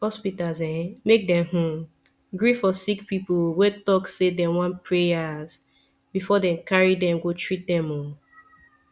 hospitas eh make dem hmn gree for sicki pipu wen talk say dem wan prayas befor dem carry dem go treat them oh